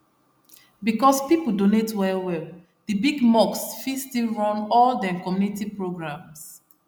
because people donate well well the big mosque fit still run all dem community programs